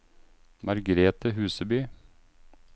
Margrethe Huseby